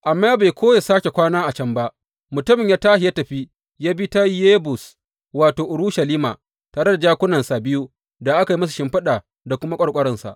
Amma bai so ya sāke kwana a can ba, mutumin ya tashi ya tafi ya bi ta Yebus wato, Urushalima, tare da jakunansa biyu da aka yi musu shimfiɗa da kuma ƙwarƙwaransa.